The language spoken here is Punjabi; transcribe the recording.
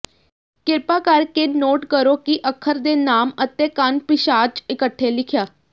ਕਿਰਪਾ ਕਰਕੇ ਨੋਟ ਕਰੋ ਕਿ ਅੱਖਰ ਦੇ ਨਾਮ ਅਤੇ ਕਣ ਪਿਸ਼ਾਚ ਇਕੱਠੇ ਲਿਖਿਆ